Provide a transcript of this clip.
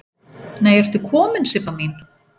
Nei ertu komin Sibba mín!